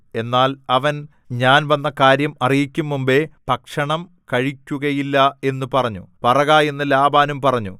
എന്നാൽ അവൻ ഞാൻ വന്ന കാര്യം അറിയിക്കും മുമ്പെ ഭക്ഷണം കഴിക്കുകയില്ല എന്നു പറഞ്ഞു പറക എന്ന് ലാബാനും പറഞ്ഞു